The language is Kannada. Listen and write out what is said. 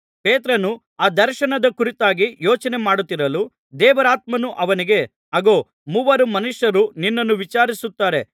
ಪೇತ್ರನು ಆ ದರ್ಶನದ ಕುರಿತಾಗಿ ಯೋಚನೆ ಮಾಡುತ್ತಿರಲು ದೇವರಾತ್ಮನು ಅವನಿಗೆ ಅಗೋ ಮೂವರು ಮನುಷ್ಯರು ನಿನ್ನನ್ನು ವಿಚಾರಿಸುತ್ತಾರೆ